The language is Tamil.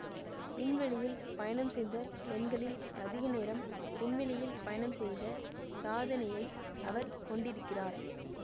விண்வெளியில் பயணம் செய்த பெண்களில் அதிக நேரம் விண்வெளியில் பயணம் செய்த சாதனையை அவர் கொண்டிருக்கிறார்